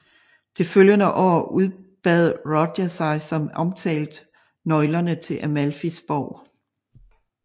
Det følgende år udbad Roger sig som omtalt nøglerne til Amalfis borg